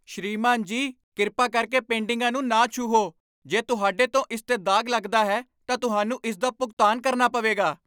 ਸ੍ਰੀਮਾਨ ਜੀ, ਕਿਰਪਾ ਕਰਕੇ ਪੇਂਟਿੰਗਾਂ ਨੂੰ ਨਾ ਛੂਹੋ! ਜੇ ਤੁਹਾਡੇ ਤੋਂ ਇਸ 'ਤੇ ਦਾਗ ਲੱਗਦਾ ਹੈ, ਤਾਂ ਤੁਹਾਨੂੰ ਇਸ ਦਾ ਭੁਗਤਾਨ ਕਰਨਾ ਪਵੇਗਾ।